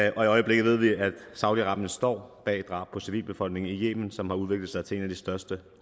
i øjeblikket ved vi at saudi arabien står bag drab på civilbefolkningen i yemen som har udviklet sig til en af de største